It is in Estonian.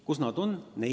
Kus nad on?